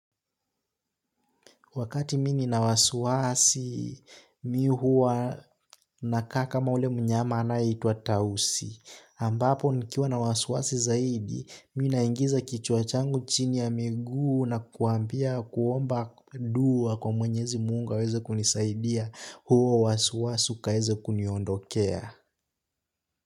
Wakati mimi nina wasiwasi, mimi huwa nakaa kama ule mnyama anayeitwa tausi. Ambapo nikiwa na wasiwasi zaidi, mimi naingiza kichwa changu chini ya miguu na kuambia kuomba dua kwa mwenyezi mungu aweze kunisaidia huo wasiwasi ukaweze kuniondokea.